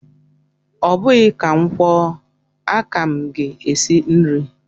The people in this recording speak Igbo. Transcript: Ọ bụghị ka m kwuo, aka m gị esi nri